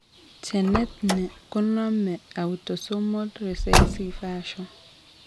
Genetni kenomen autosomal recessive fashion